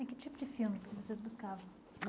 E que tipo de filmes que vocês buscavam?